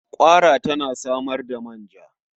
Ƙwara za ta iya samar da manya.